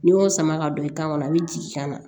N'i y'o sama ka don i kan a bɛ jigin ka na